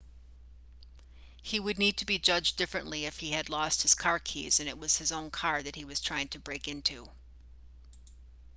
he would need to be judged differently if he had lost his car keys and it was his own car that he was trying to break into